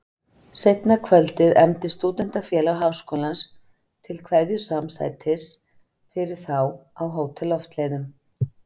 Seinna kvöldið efndi Stúdentafélag Háskólans til kveðjusamsætis fyrir þá á Hótel Loftleiðum.